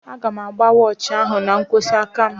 Aga m agba wọochi ahụ n'nkwojiaka m